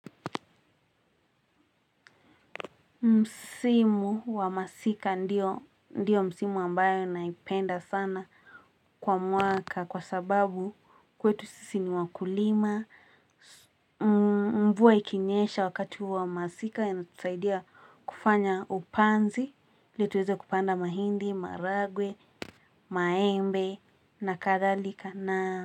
Msimu wa masika ndio ndio msimu ambayo naipenda sana kwa mwaka kwa sababu kwetu sisi ni wakulima. Mvua ikinyesha wakati wa masika inatusaidia kufanya upanzi ili tuweze kupanda mahindi, maragwe, maembe na kadhalika na.